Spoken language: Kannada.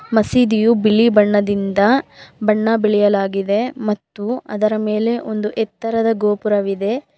ಮಸೀದಿಯು ಬಿಳಿ ಬಣ್ಣದಿಂದ ಬಣ್ಣ ಬೆಳೆಯಲಾಗಿದೆ ಮತ್ತು ಅದರ ಮೇಲೆ ಒಂದು ಎತ್ತರದ ಗೋಪುರವಿದೆ.